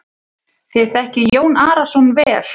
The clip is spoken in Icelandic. Þér þekkið Jón Arason vel.